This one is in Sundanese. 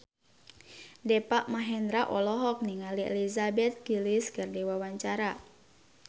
Deva Mahendra olohok ningali Elizabeth Gillies keur diwawancara